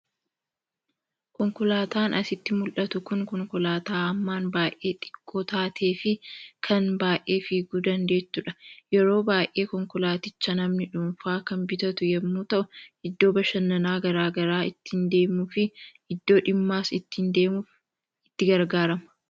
Konkolaataan asitti muldhatu kun konkolaataa hammaan baay'ee xiqqoo taatee fi kan baay'ee fiiguu dandeettuudha. Yeroo baay'ee konkolaaticha namni dhuunfaa kan bitatu yemmuu ta'u iddoo bashannanaa garaa garaa ittiin deemuu fi iddoo dhimmaas ittiin deemuuf itti gargaarama.